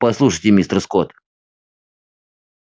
послушайте мистер скотт